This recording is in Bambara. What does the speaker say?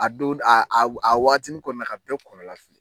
A don a wagatini kɔnɔna ka bɛɛ kɔnɔna fili